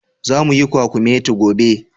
Zamu yi kwakumeti gobe.